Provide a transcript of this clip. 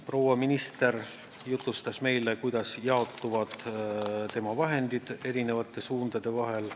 Proua minister jutustas meile, kuidas jaotuvad tema vahendid erinevate suundade vahel.